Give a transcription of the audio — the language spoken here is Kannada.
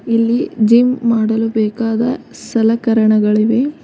ಇಲ್ಲಿ ಜಿಮ್ ಮಾಡಲು ಬೇಕಾದ ಸಲಕರಣಗಳಿವೆ.